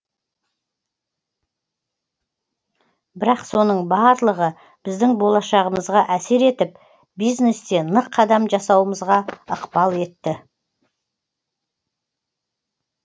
бірақ соның барлығы біздің болашағымызға әсер етіп бизнесте нық қадам жасауымызға ықпал етті